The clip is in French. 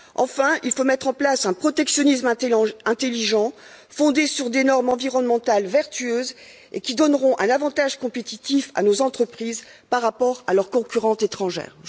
Enfin, il faut mettre en place un protectionnisme intelligent, fondé sur des normes environnementales vertueuses et qui donneront un avantage compétitif à nos entreprises par rapport à leurs concurrentes étrangères.